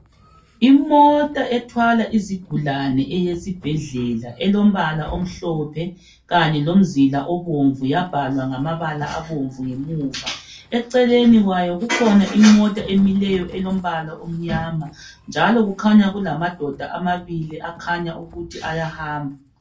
Imota ethwala izigulane eyesibhedlela elombala omhlophe kanye lomzila obomvu yabhalwa ngamabala abomvu ngemuva , eceleni kwayo kukhona imota emileyo elombala omnyama njalo kukhanya kulamadoda amabili akhanya ukuthi ayahamba